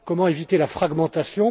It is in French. Comment éviter la fragmentation?